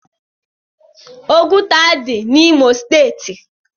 Ọgụta dị n'imo steeti.